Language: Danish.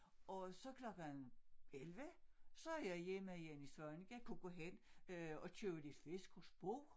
Og så klokken 11 så er jeg hjemme hjemme i Svaneke kan gå hen øh og købe lidt fisk hos Bo